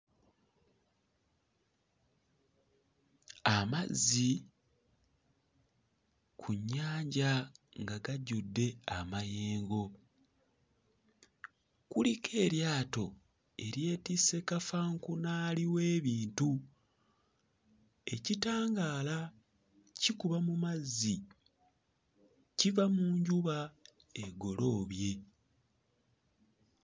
Amazzi ku nnyanja nga gajjudde amayengo. Kuliko eryato eryetisse kafankunaali w'ebintu. Ekitangaala kikuba mu mazzi kiva mu njuba egoloobye.